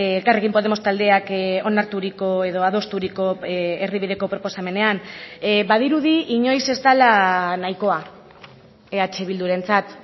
elkarrekin podemos taldeak onarturiko edo adosturiko erdibideko proposamenean badirudi inoiz ez dela nahikoa eh bildurentzat